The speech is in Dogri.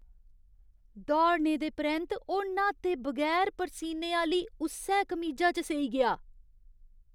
दौड़ने दे परैंत्त ओह् न्हाते बगैर परसीने आह्‌ली उस्सै कमीजा च सेई गेआ।